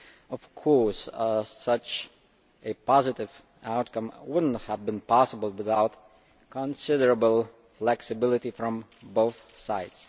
Of course, such a positive outcome would not have been possible without considerable flexibility from both sides.